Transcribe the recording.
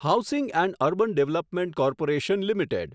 housing and urban development corporation limited